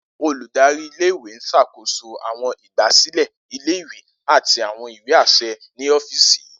Oludari ile-iwe n ṣakoso awọn igbasilẹ ile-iwe ati awọn iwe aṣẹ ni ọfíìsì yii.